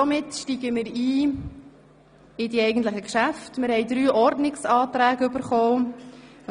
Damit steigen wir in die Beratungen ein und haben zunächst drei Ordnungsanträge zu behandeln.